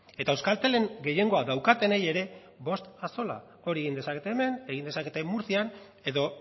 eta euskaltelen gehiengoa daukatenei ere bost axola hori egin dezakete hemen egin dezakete murtzian edo